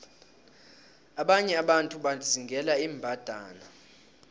abanye abantu bazingela iimbandana